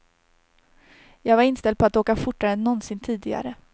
Jag var inställd på att åka fortare än någonsin tidigare.